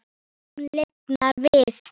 Hún lifnar við.